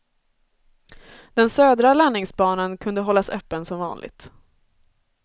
Den södra landningsbanan kunde hållas öppen som vanligt.